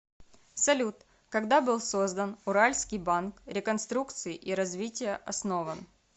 салют когда был создан уральский банк реконструкции и развития основан